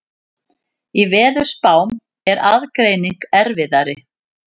Í veðurspám er aðgreining erfiðari.